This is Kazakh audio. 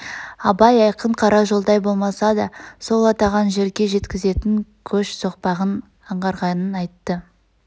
абай айқын қара жолдай болмаса да сол атаған жерге жеткзетн көш соқпағын аңғарғанын айтты